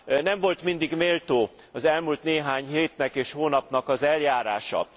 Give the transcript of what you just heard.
Nem volt mindig méltó az elmúlt néhány hétnek és a hónapnak az eljárása.